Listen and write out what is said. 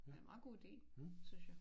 Det en meget god ide synes jeg